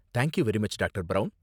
Thank you very much, doctor. Brown.